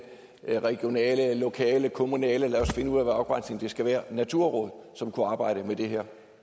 regionale lokale kommunale lad os finde ud af hvilken afgrænsning der skal være naturråd som kunne arbejde med det her